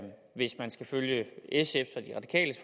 hvis man skal følge sfs